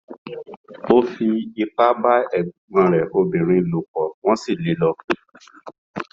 Ó fipá bá ẹ̀gbọ́n rẹ̀ obìnrin lò pọ̀, wọ́n sì lé e lọ.